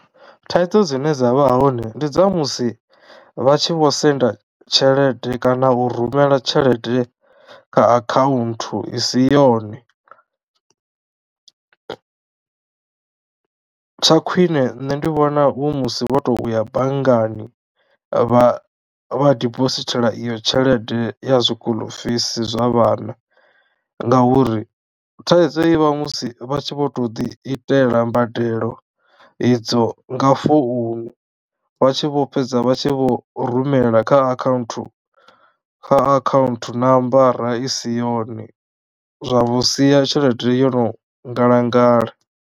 Thaidzo dzine dzavha hone ndi dza musi vha tshi vho senda tshelede kana u rumela tshelede kha account i si yone. Tsha khwine nṋe ndi vhona hu musi wo tou ya bangani vha vha dibosithela iyo tshelede ya zwi school fees zwa vhana ngauri thaidzo ivha musi vha tshi vho to ḓi itela mbadelo idzo nga founu vha tshi vho fhedza vha tshi vho rumela kha account kha akhaunthu nambara i si yone zwa vho sia tshelede yo no ngalangala.